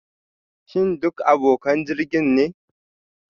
Shin duk abokan jirgin ne?